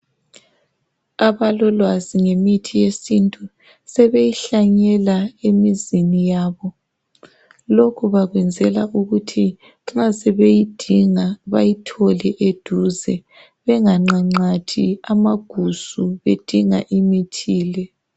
Abalolwazi ngemithi yesintu, sebeyihlanyela emizini yabo. Lokhu bakwenzela ukuthi nxa sebeyidinga, bayithole eduze. Benganqanqathi amagusu bedinga imithi le.